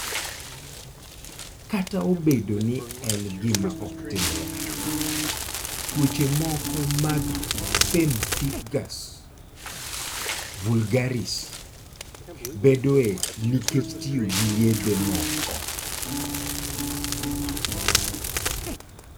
Kata obedo ni en gima ok timre ahinya, tuoche moko mag pemphigus vulgaris bedoe nikech tiyo gi yedhe moko.